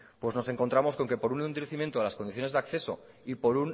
pues nos encontramos con que por un endurecimiento de las condiciones de acceso y por